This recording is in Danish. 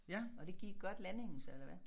Og det gik godt landingen så eller hvad?